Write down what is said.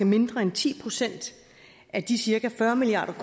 mindre end ti procent af de cirka fyrre milliard